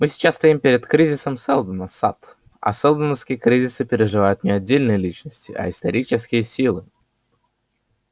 мы сейчас стоим перед кризисом сэлдона сатт а сэлдоновские кризисы переживают не отдельные личности а исторические силы